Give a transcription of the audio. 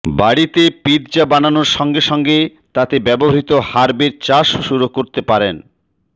বাড়িতে পিৎজ়া বানানোর সঙ্গে সঙ্গে তাতে ব্যবহৃত হার্বের চাষও শুরু করতে পারেন